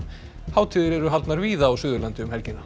hátíðir eru haldnar víða á Suðurlandi um helgina